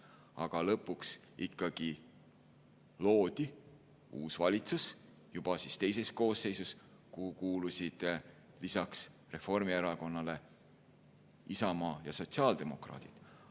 Aga lõpuks ikkagi loodi uus valitsus, juba teises koosseisus, kuhu kuulusid lisaks Reformierakonnale Isamaa ja sotsiaaldemokraadid.